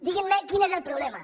diguin me quin és el problema